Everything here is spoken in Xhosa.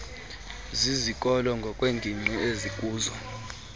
zizikolo ngokweengingqi ezikuzo